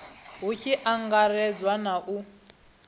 hu tshi angaredzwa na u